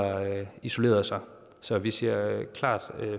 isolerede sig så vi siger klart